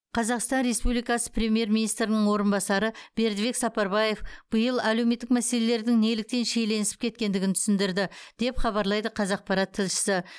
қазақстан республикасы премьер министрінің орынбасары бердібек сапарбаев биыл әлеуметтік мәселелердің неліктен шиеленісіп кеткендігін түсіндірді деп хабарлайды қазақпарат тілшісі